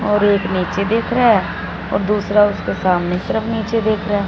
और एक नीचे देख रहा और दूसरा उसके सामने तरफ नीचे देख रहा--